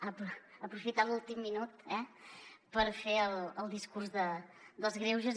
ha aprofitat l’últim minut eh per fer el discurs dels greuges